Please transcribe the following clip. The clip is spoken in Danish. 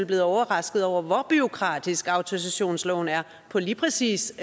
blevet overrasket over hvor bureaukratisk autorisationsloven er på lige præcis